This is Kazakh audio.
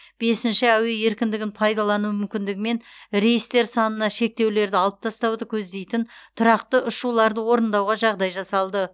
бесінші әуе еркіндігін пайдалану мүмкіндігімен рейстер санына шектеулерді алып тастауды көздейтін тұрақты ұшуларды орындауға жағдай жасалды